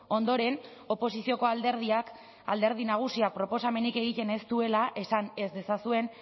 ondoren oposizioko alderdiak alderdi nagusia proposamenik egiten ez duela esan ez dezazuen